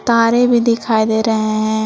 तारे भी दिखाई दे रहे हैं।